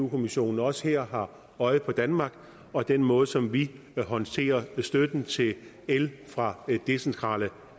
kommissionen også her har øje på danmark og den måde som vi håndterer støtten til el fra decentrale